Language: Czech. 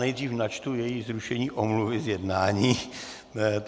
Nejdříve načtu její zrušení omluvy z jednání.